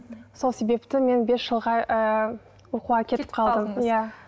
сол себепті мен бес жылға ыыы оқуға кетіп қалдым иә